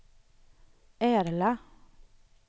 Ärla